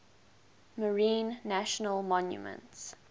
marine national monument